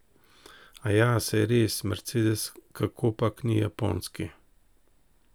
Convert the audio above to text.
Aja, saj res, mercedes kakopak ni japonski.